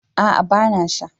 A'a ba na sha